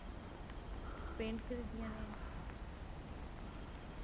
pent ਖਰੀਦੀਆਂ ਨੇ